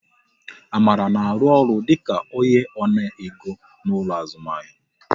Amara na arụ ọrụ dịka onye ona ego n'ụlọ azụmahịa